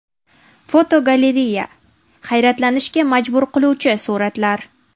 Fotogalereya: Hayratlanishga majbur qiluvchi suratlar.